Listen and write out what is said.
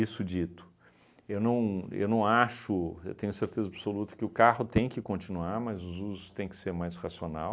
dito, eu não eu não acho, eu tenho certeza absoluta que o carro tem que continuar, mas os usos tem que ser mais racional.